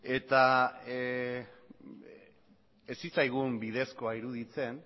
eta ez zitzaigun bidezkoa iruditzen